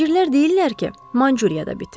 Tacirlər deyirlər ki, Manchuriyada bitir.